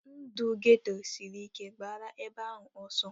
Ndụ geto sịrị ike, gbara ebe ahụ ọsọ!